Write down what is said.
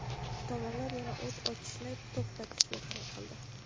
tomonlar yana o‘t ochishni to‘xtatishga qaror qildi.